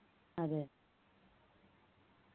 അതെ